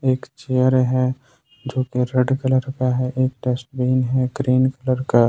एक चेयर है जो कि रेड कलर का है एक डस्टबिन है ग्रीन कलर का।